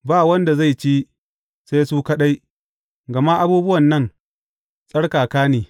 Ba wanda zai ci, sai su kaɗai, gama abubuwan nan tsarkaka ne.